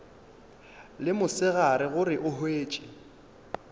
le mosegare gore o hwetše